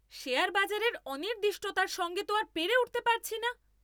Share বাজারের অনির্দিষ্টতার সঙ্গে তো আর পেরে উঠতে পারছি না।